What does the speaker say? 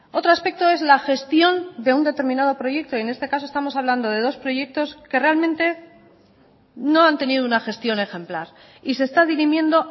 otro aspecto es la gestión de un determinado proyecto y en este caso estamos hablando de dos proyectos que realmente no han tenido una gestión ejemplar y se está dirimiendo